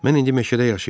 Mən indi meşədə yaşıyıram.